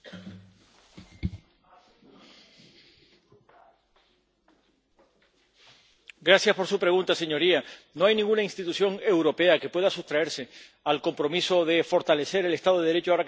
No hay ninguna institución europea que pueda sustraerse al compromiso de fortalecer el Estado de Derecho ahora que está tan amenazado, pero, particularmente, frente a la criminalidad organizada, que es seguramente la amenaza más lacerante.